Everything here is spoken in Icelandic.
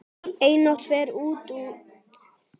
Einatt fer úr iðrum greitt.